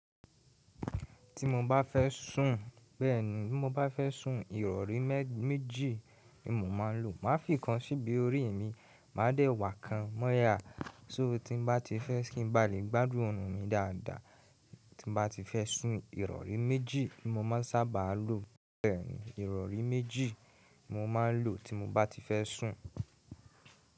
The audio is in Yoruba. Ti mo bá fẹ́ sùn, bẹ́ẹ̀ní, bi mo bá fẹ́ sùn, ìrọ̀rí méjì ni mo máa ń lò. Má fìkan síbi orí mi, màá dẹ̀wà kan mọ́yá. So ti n bá ti fẹ́ kí n ba lè gbádùn òòrùn mi dáadáa, ti mo bá ti fẹ́ sùn, ìrọ̀rí méjì ni mo máa sábà lò. Bẹ́ẹ̀ní, ìrọ̀rí méjì mo máa ń lò ti mo bá ti fẹ́ sùn.